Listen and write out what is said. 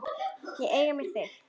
Ég eigna mér þig.